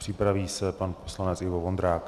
Připraví se pan poslanec Ivo Vondrák.